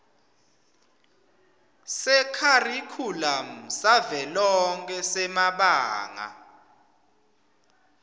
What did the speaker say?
sekharikhulamu savelonkhe semabanga